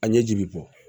A ɲɛji bi bɔ